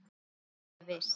Nú er ég viss!